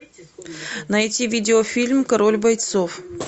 найти видеофильм король бойцов